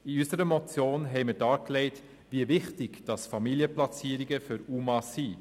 In unserer Motion haben wir dargelegt, wie wichtig Familienplatzierungen für UMA sind.